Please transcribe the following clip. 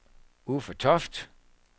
Uffe Toft